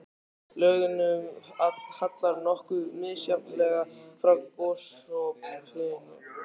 Lögunum hallar nokkuð misjafnlega frá gosopinu.